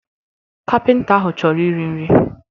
Kapịnta ahụ chọrọ iri nri